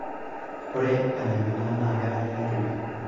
ore enaimina naa kanare netumi